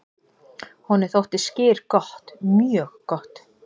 """Honum þótti skyr gott, mjög gott."""